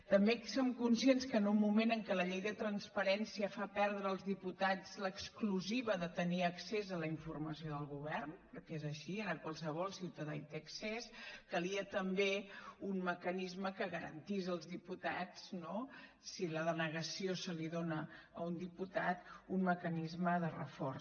també som conscients que en un moment en què la llei de transparència fa perdre als diputats l’exclusiva de tenir accés a la informació del govern perquè és així ara qualsevol ciutadà hi té accés calia també un mecanisme que garantís als diputats no si la denegació se li dóna a un diputat un mecanisme de reforç